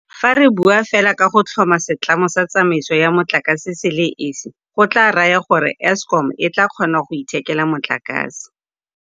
Fa re bua fela ka go tlhoma setlamo sa tsamaiso ya motlakase se le esi go tla raya gore Eskom e tla kgona go ithekela motlakase